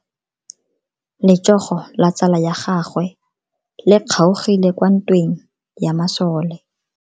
Letsogo la tsala ya gagwe le kgaogile kwa ntweng ya masole.